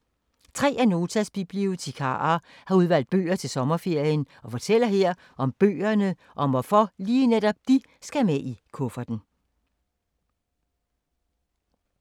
Tre af Notas bibliotekarer har udvalgt bøger til sommerferien og fortæller her om bøgerne og om hvorfor lige netop de skal med i kufferten.